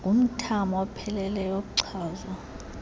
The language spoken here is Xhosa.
ngumthamo opheleleyo ochazwa